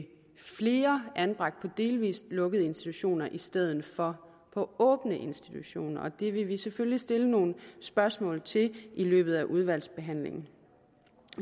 flere anbragt på delvis lukkede institutioner i stedet for på åbne institutioner og det vil vi selvfølgelig stille nogle spørgsmål til i løbet af udvalgsbehandlingen